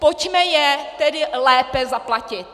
Pojďme je tedy lépe zaplatit.